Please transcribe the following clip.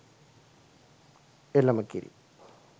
එළම කිරි